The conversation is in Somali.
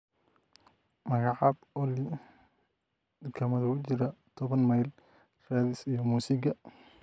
Magacab olly dukaamada u jira toban mayl raadis iyo muusigga